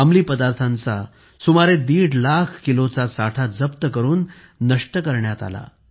अंमली पदार्थांचा सुमारे दीड लाख किलोचा साठा जप्त करून नष्टही करण्यात आला